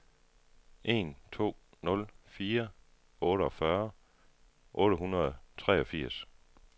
en to nul fire otteogfyrre otte hundrede og treogfirs